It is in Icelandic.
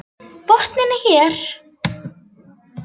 Botninn er hér!